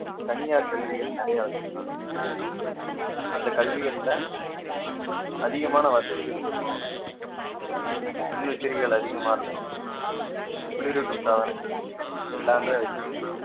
தனியார் கல்விகள் நிறைய வச்சிருக்காங்க அந்த கல்விகள்ல அதிகமான வசதிகள் இருக்கும் மின்விசிறிகள் அதிகமா இருக்கும் குளிரூட்டும் சாதனங்கள் எல்லாமே வச்சு